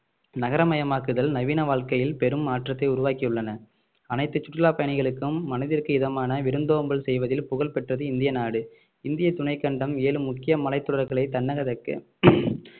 நகரமயமாக்குதல் நவீன வாழ்க்கையில் பெரும் மாற்றத்தை உருவாக்கியுள்ளன அனைத்து சுற்றுலா பயணிகளுக்கும் மனதிற்கு இதமான விருந்தோம்பல் செய்வதில் புகழ் பெற்றது இந்திய நாடு இந்திய துணைக்கண்டம் ஏழு முக்கிய மலைத்தொடர்களை தன்னகதக்கு